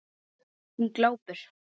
Hún glápir.